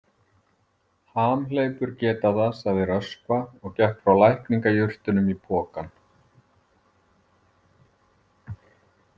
Hamhleypur geta það, sagði Röskva og gekk frá lækningajurtunum í pokann.